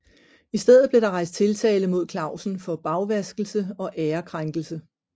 I stedet blev der rejst tiltale mod Clausen for bagvaskelse og ærekrænkelse